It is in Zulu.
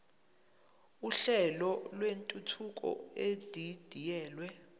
uhlelo lwentuthuko edidiyelwe